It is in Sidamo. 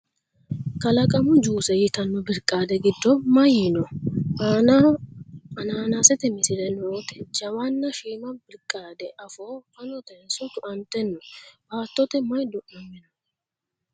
Kalaqamu juuse yitanno birqaade giddo may noo ? Aannaho anaanasete misile noote jawanna shiima birqaade afoo fanotenso tu'ante no? Baatote may du'namino ?